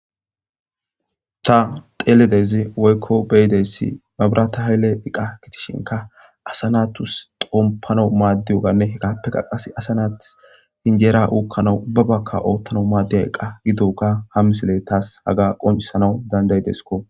Ta xeeledezi woykko beyideyssi mabirata haylle iqa kitishinka asanatus xompano maaddiyoganne hekaappe qaqas asanaath hinjeera uokkana ubbabakka oottano maadde a eqqa gidoka hammisile taas haga qoncisanawu dandayidesko.